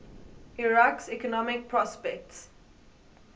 iraq's economic prospects